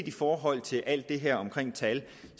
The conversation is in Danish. i forhold til alt det her med tal